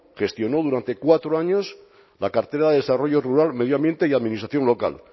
gestionó durante cuatro años la cartera de desarrollo rural medio ambiente y administración local